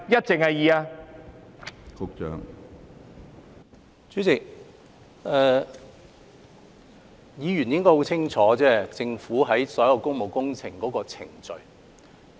主席，議員應該很清楚政府有關所有工務工程的程序。